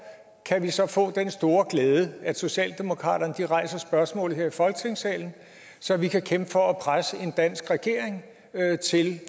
kan vi så få den store glæde at socialdemokratiet rejser spørgsmålet her i folketingssalen så vi kan kæmpe for at presse en dansk regering til